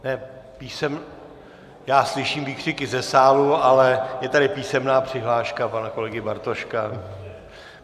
Já slyším výkřiky ze sálu, ale je tady písemná přihláška pana kolegy Bartoška.